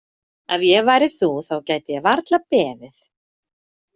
Ef ég væri þú þá gæti ég varla beðið.